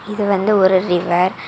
இது வந்து ஒரு ரிவர் .